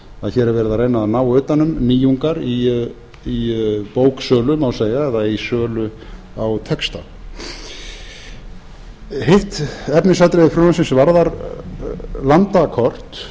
verið að reyna að ná utan um nýjungar í bóksölu má segja eða í sölu á texta hitt efnisatriði frumvarpsins varðar landakort